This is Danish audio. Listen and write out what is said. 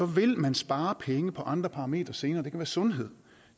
vil man spare penge på andre parametre senere det kan være sundhed